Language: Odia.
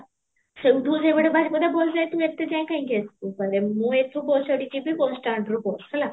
ସେଉଠୁ ରମଣା ବାରିପଦା bus ଯାଇଥିବ ଏତେ ଯାଏଁ କାହିଁକି ଆସିବ ଗଲେ ମୁଁ ଏଠୁ ବୁଶ ଚଢି ଯିବି bus stand ରୁ bus, ହେଲା?